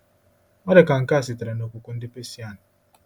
Ọ dị ka nke a sitere n’okwukwe ndị Persian